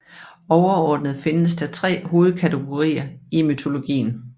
Overordnet findes der tre hovedkategorier i mytologien